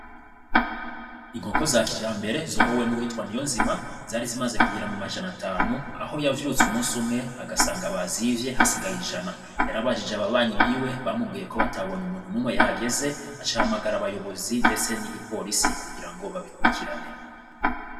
Inkoko za kija mbere zorowe n'uwitwan' iyo nzima zari zimaze kugira mu majana atanu aho yavyutse umusi umwe agasanga ba zivye hasigaye ijana yarabajije ababanyi biwe bamugwiye ko batabonye umuntu n'umwe yahageze acahamagara abayobozi, ndetse n'igipolisi kugira ngo babikurikirane.